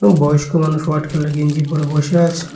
বয়স্ক মানুষ হোয়াইট কালারের গেঞ্জি পরে বইসে আছে।